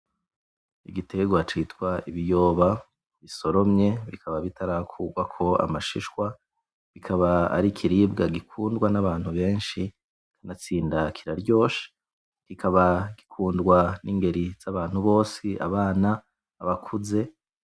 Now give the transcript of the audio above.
Igiterwa citwa ibiyoba bisoromye bikaba bitarakurwako amashishwa bikaba ari ikiribwa gikundwa n'abantu benshi kanatsinda kiraryoshe kikaba gikundwa n'ingeri zabantu bose, abana, abakuze